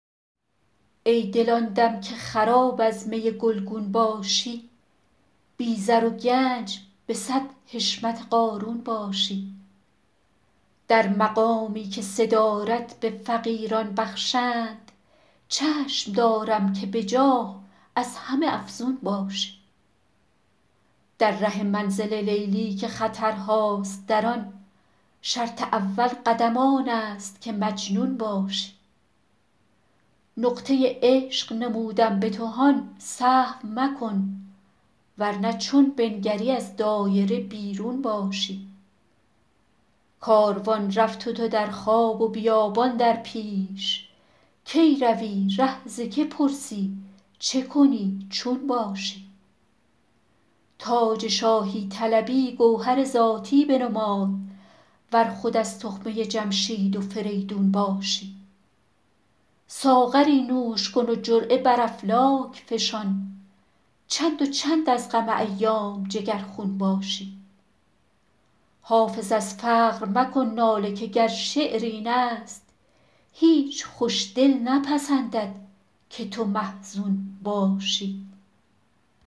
ای دل آن دم که خراب از می گلگون باشی بی زر و گنج به صد حشمت قارون باشی در مقامی که صدارت به فقیران بخشند چشم دارم که به جاه از همه افزون باشی در ره منزل لیلی که خطرهاست در آن شرط اول قدم آن است که مجنون باشی نقطه عشق نمودم به تو هان سهو مکن ور نه چون بنگری از دایره بیرون باشی کاروان رفت و تو در خواب و بیابان در پیش کی روی ره ز که پرسی چه کنی چون باشی تاج شاهی طلبی گوهر ذاتی بنمای ور خود از تخمه جمشید و فریدون باشی ساغری نوش کن و جرعه بر افلاک فشان چند و چند از غم ایام جگرخون باشی حافظ از فقر مکن ناله که گر شعر این است هیچ خوش دل نپسندد که تو محزون باشی